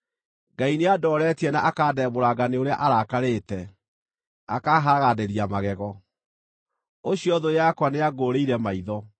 Ngai nĩandooretie na akandembũranga nĩ ũrĩa arakarĩte, akaahagaranĩria magego; ũcio thũ yakwa nĩangũũrĩire maitho.